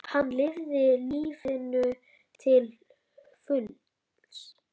Hann lifði lífinu til fulls.